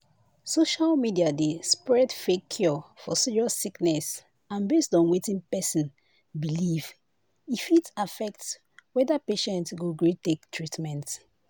social media dey spread fake cure for serious sickness and based on wetin person believe e fit affect whether patient go gree take treatment."